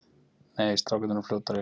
Nei, strákarnir eru fljótari.